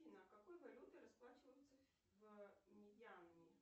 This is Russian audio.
афина какой валютой расплачиваются в мьянме